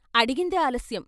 అడిగిందే ఆలస్యం.